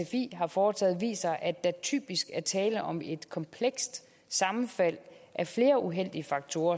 sfi har foretaget viser at der typisk er tale om et komplekst sammenfald af flere uheldige faktorer